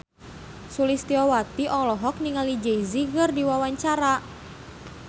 Sulistyowati olohok ningali Jay Z keur diwawancara